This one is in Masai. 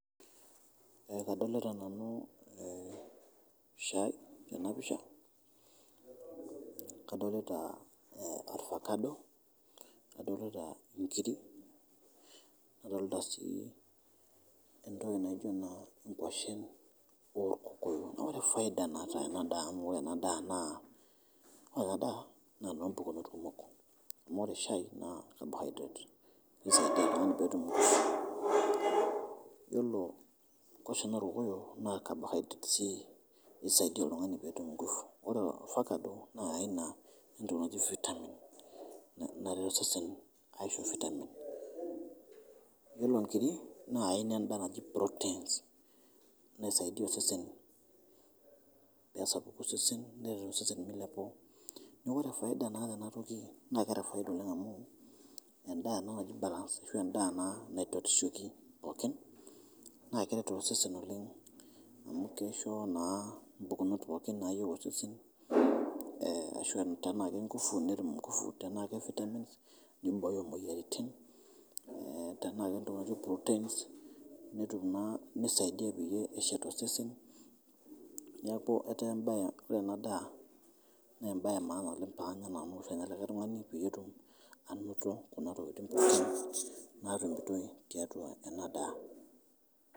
Kdolita nanu shai tena pisha, kadolita ovacado, kadolita inkiri, nadolita sii entoki natiu anaa ngoshen olkokoyo, ore lfaida oota ana daa amu ore ana daa naa nompukunot kumok, amu ore shai naa carbohydrate neisaidia ltungani peetum enguvu, iyolo ngoshen olkokoyo naa carbohydrate sii neisaidia oltungani peetum ngufu, ore ovacadp na aina entoki naji vitamin neret sesen aisho vitamin, ore inkiri naa aina endaa naji proteins neisadia osesen peesapuku osesen nelo sesen meiliapu, naaku kore faida naata ana toki naa keata faida oleng amu endaa ana naji balance ashu endaa ana naipatushoki pookin naa keret osesen oleng amu keisho naa mpukunot pookin naayeu osesen ashu tenaa ake enguvu netum enguvu, tenaa ake vitamins neibooyo moyaritin, tenaa ake ntoki naji proteins netum naa neisaidia peye eshet osesen, neaku etaa ore ana daa naa embai emaana paanya nanu penya likai tungani peetum anoto kuna tokitin naa nikitum teatua ana daa.